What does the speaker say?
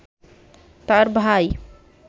তাঁর ভাই